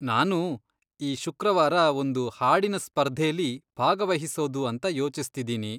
ನಾನೂ ಈ ಶುಕ್ರವಾರ ಒಂದು ಹಾಡಿನ್ ಸ್ಪರ್ಧೆಲಿ ಭಾಗವಹಿಸೋದು ಅಂತ ಯೋಚಿಸ್ತಿದೀನಿ.